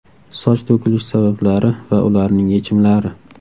Soch to‘kilishi sabablari va ularning yechimlari.